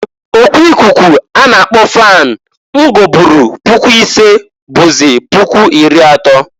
O ku ikuku a na akpọ fan m goburu puku isee bụzị puku iri atọọ.